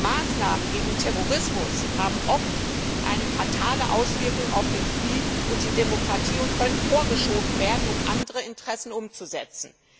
Maßnahmen gegen Terrorismus haben oft eine fatale Auswirkung auf den Frieden und die Demokratie und können vorgeschoben werden, um andere Interessen durchzusetzen.